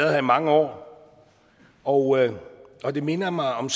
her i mange år og og det minder mig om